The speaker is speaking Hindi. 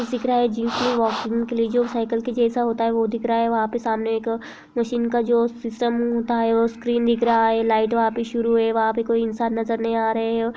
वाशरूम के लिए जो साइकल के जैसा होता है वो दिख रहा है वहाँ पे सामने एक जो मशीन का जो सिस्टम होता है वो स्क्रीन दिख रहा है लाइट वहाँ पे शुरू है वहाँ पे कोई इंसान नजर नहीं आ रहा है।